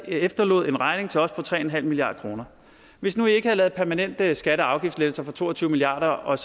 efterlod en regning til os på tre milliard kroner hvis nu i ikke havde lavet permanente skatte og afgiftslettelser for to og tyve milliard